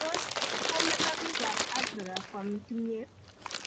Tos kometo piikapn Africa kwam kimyet?